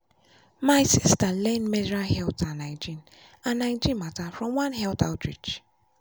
my sister learn menstrual health and hygiene and hygiene matter from one health outreach.